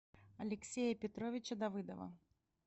алексея петровича давыдова